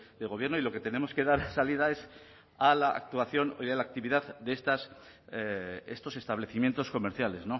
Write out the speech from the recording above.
de gobierno y lo que tenemos que dar salida es a la actuación a la actividad de estos establecimientos comerciales